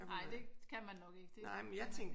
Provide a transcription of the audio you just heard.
Ej det kan man nok ikke